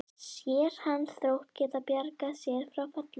Sér hann Þrótt geta bjargað sér frá falli?